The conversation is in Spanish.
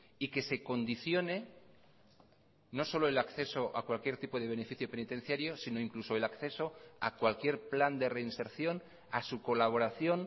y que se condicione no solo el acceso a cualquier tipo de beneficio penitenciario sino incluso el acceso a cualquier plan de reinserción a su colaboración